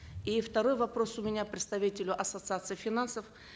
и второй вопрос у меня представителю ассоциации финансов